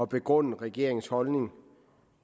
begrunde regeringens holdning